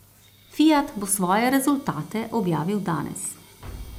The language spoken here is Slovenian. Fiat bo svoje rezultate objavil danes.